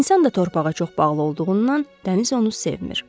İnsan da torpağa çox bağlı olduğundan dəniz onu sevmir.